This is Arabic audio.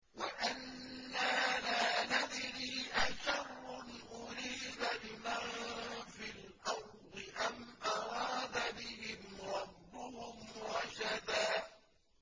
وَأَنَّا لَا نَدْرِي أَشَرٌّ أُرِيدَ بِمَن فِي الْأَرْضِ أَمْ أَرَادَ بِهِمْ رَبُّهُمْ رَشَدًا